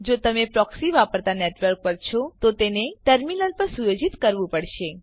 જો તમે પ્રોક્સી વાપરતા નેટવર્ક પર છો તો તેને ટર્મીનલ પર સુયોજિત કરવું પડશે